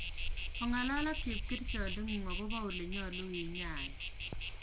Ongalal ak chepkerichondengung akobo ole nyolu kinyain